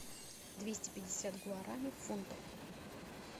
двести пятьдесят гуарани в фунтах